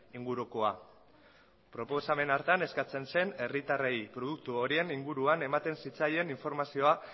ingurukoa proposamen hartan eskatzen zen herritarrei produktu horien inguruan ematen zitzaien informazioa